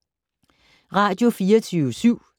Radio24syv